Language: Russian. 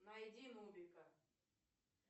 найди нубика